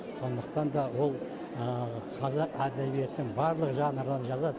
сондықтан да ол қазақ әдебиетінің барлық жанрынан жазады